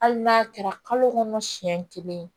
Hali n'a kɛra kalo kɔnɔ siyɛn kelen ye